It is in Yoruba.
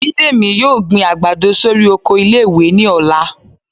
Bídèmí yóò gbín àgbádọ sorí oko ìlé-ìwé ni ọlà